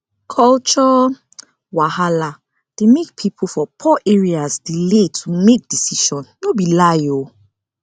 culture wahala dey make people for poor areas delay to make decision no be lie o